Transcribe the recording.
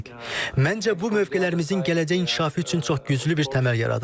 Məncə, bu mövqelərimizin gələcək inkişafı üçün çox güclü bir təməl yaradır.